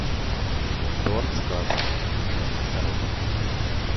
торт сказка одна коробка